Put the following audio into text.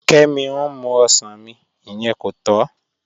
Kẹ́mí n mú ọṣàn mí, ìyẹn kò tọ́